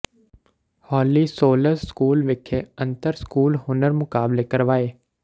ਹੋਲੀ souls school ਵਿਖੇ ਅੰਤਰ school ਹੁਨਰ ਮੁਕਾਬਲੇ ਕਰਵਾਏ